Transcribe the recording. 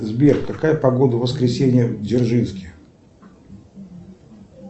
сбер какая погода в воскресенье в дзержинске